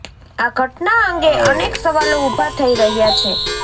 આ ઘટના અંગે અનેક સવાલો ઉભા થઇ રહ્યાં છે